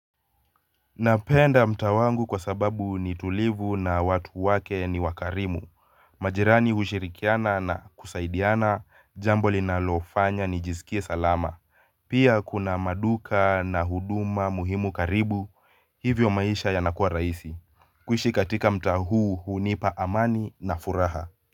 Napenda mtaa wangu kwa sababu ni tulivu na watu wake ni wakarimu, majirani hushirikiana na kusaidiana jambo linalofanya nijisikie salama pia kuna maduka na huduma muhimu karibu hivyo maisha yanakuwa rahisi kuishi katika mtaa huu hunipa amani na furaha.